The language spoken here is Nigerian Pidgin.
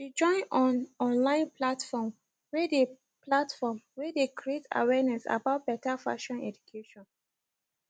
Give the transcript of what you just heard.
she join on online platform whey dey platform whey dey creat awareness about beta fashion education